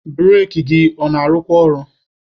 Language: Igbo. Bureki gị ọ na-arụkwa ọrụ?